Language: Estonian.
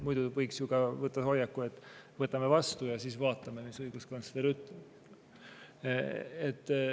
Muidu võiks ju ka võtta hoiaku, et võtame vastu ja siis vaatame, mis õiguskantsler ütleb.